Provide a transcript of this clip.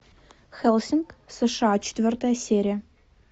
хеллсинг сша четвертая серия